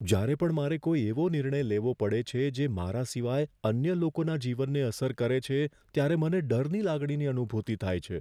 જ્યારે પણ મારે કોઈ એવો નિર્ણય લેવો પડે છે જે મારા સિવાય અન્ય લોકોના જીવનને અસર કરે છે ત્યારે મને ડરની લાગણીની અનુભૂતિ થાય છે.